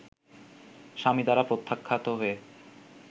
স্বামী দ্বারা প্রত্যাখ্যাত হয়ে